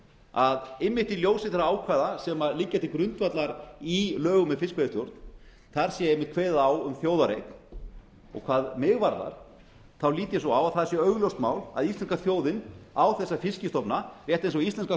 að einmitt í ljósi þeirra ákvæða sem liggja til grundvallar í lögum um fiskveiðistjórn þar sé einmitt kveðið á um þjóðareign og hvað mig varðar þá lít ég svo á að það sé augljóst mál að íslenska þjóðin á þessa fiskstofna rétt eins og íslenska